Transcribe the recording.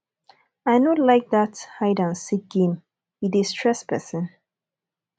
i no like that hide and seek game e dey stress person